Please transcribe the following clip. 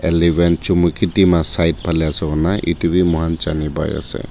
eleven chumukedema side phalae ase koina edu bi moikhan Jani paiase.